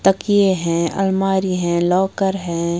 तकिए हैं अलमारी है लॉकर है।